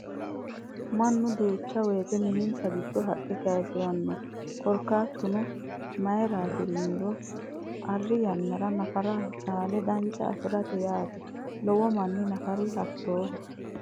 Mannu duucha woyiite minnansa gidoo haqqe kayiisiranno. Korkaatuno mayiirati yiniro arri yannara nafara caale dancha afirate yeeti. Lowo manni nafari hattooho.